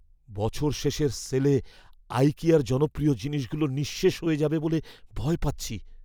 বছর শেষের সেলে আইকিয়ার জনপ্রিয় জিনিসগুলো নিঃশেষ হয়ে যাবে বলে ভয় পাচ্ছি।